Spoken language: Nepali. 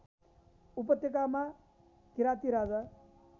उपत्यकामा किराती राजा